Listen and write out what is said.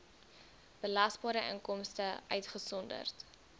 belasbare inkomste uitgesonderd